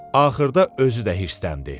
Axırda özü də hirsləndi.